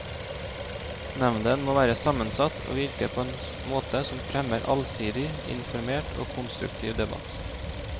Nevnden må være sammensatt og virke på en måte som fremmer allsidig, informert og konstruktiv debatt.